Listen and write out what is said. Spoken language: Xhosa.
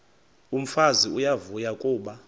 umfazi uyavuya kuba